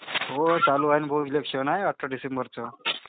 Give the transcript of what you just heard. हो चालू आहे. is not Clear आहे अठरा डिसेंबरचं.